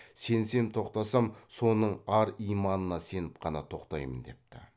сенсем тоқтасам соның ар иманына сеніп қана тоқтаймын депті